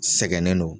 Sɛgɛnnen don